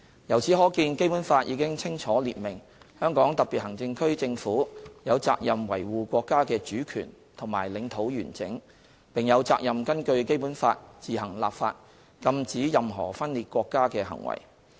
由此可見，《基本法》已清楚列明香港特別行政區政府有責任維護國家的主權和領土完整，並有責任根據《基本法》自行立法禁止任何分裂國家的行為。